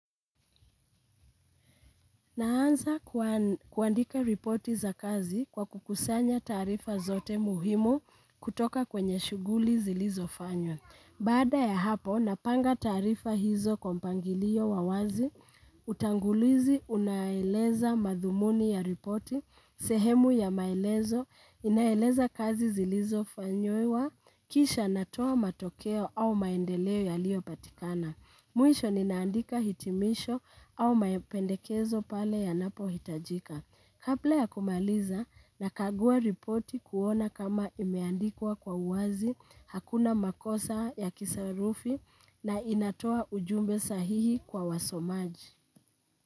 Naanza kuandika ripoti za kazi kwa kukusanya taarifa zote muhimu kutoka kwenye shughuli zilizofanywa. Baada ya hapo, napanga taarifa hizo kwa mpangilio wa wazi, utangulizi unaeleza madhumuni ya ripoti, sehemu ya maelezo, inaeleza kazi zilizofanyiwa, kisha natoa matokeo au maendeleo yaliyopatikana. Mwisho ninaandika hitimisho au mapendekezo pale yanapohitajika. Kabla ya kumaliza nakagua ripoti kuona kama imeandikwa kwa uwazi hakuna makosa ya kisarufi na inatoa ujumbe sahihi kwa wasomaji.